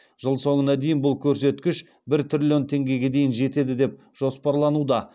жыл соңына дейін бұл көрсеткіш бір триллион теңгеге дейін жетеді деп жоспарлануда